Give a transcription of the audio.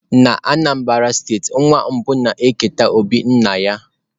Na steeti Anambra, nwa mbụ na-eketa obi nna.